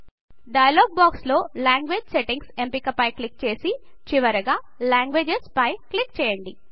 dialogue box లో language settings ఎంపిక పై క్లిక్ చేసి చివరగా లాంగ్వేజెస్ పై క్లిక్ చేయండి